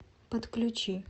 подключи